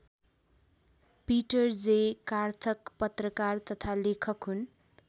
Peter J Karthak पत्रकार तथा लेखक हुन्।